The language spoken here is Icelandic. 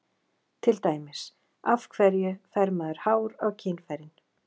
Til dæmis: Af hverju fær maður hár á kynfærin?